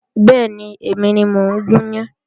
Bẹ́ẹ̀ni, èmi ni mo ń gún yan